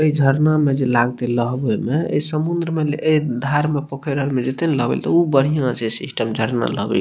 ए झरना मे जे लागते लहबे में ए समुंद्र में ए धार में पोखर आर मे जेते ने नहबे ले ते उ बढ़िया छै सिस्टम लहबे के --